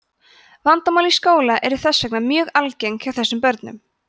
vandamál í skóla eru þess vegna mjög algeng hjá þessum börnum